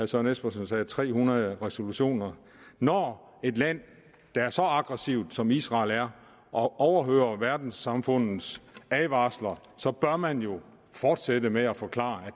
søren espersen sagde tre hundrede resolutioner når et land er så aggressivt som israel er og overhører verdenssamfundets advarsler så bør man jo fortsætte med at forklare at